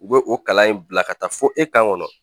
U bɛ o kalan in bila ka taa fo e kan kɔnɔ